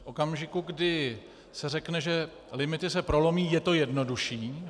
V okamžiku, kdy se řekne, že limity se prolomí, je to jednodušší.